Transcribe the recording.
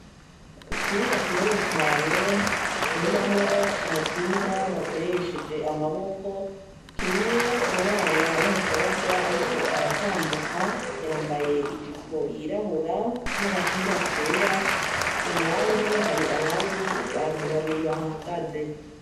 Ikibuga kinini cane bakiniramwo umupira bakoresheje amaboko, kirimwo umwana w'umukobwa ariko aratambuka, yambaye ijipo yirabura n'agapira kera ku ruhande hari abandi bantu babiri bahagaze.